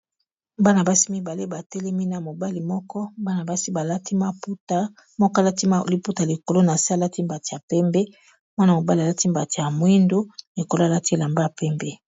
Bana basi mibale batelemi na mobali moko bana basi balati maputa moko alati liputa likolo na se alati mbati ya pembe mwana mobali alati mbati ya mwindo likolo alati elamba pembe.